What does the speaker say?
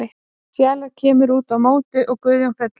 Fjalar kemur út á móti og Guðjón fellur.